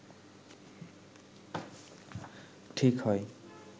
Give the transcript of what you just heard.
ঠিক হয়